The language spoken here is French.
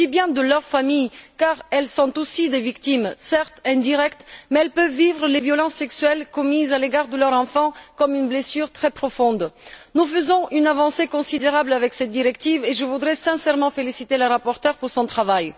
Je dis bien de leur famille car elles sont aussi des victimes, certes indirectes, mais elles peuvent vivre les violences sexuelles commises à l'égard de leur enfant comme une blessure très profonde. Cette directive représente une avancée considérable et je voudrais sincèrement féliciter la rapporteure pour son travail.